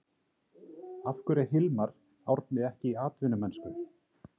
Af hverju er Hilmar Árni ekki í atvinnumennsku?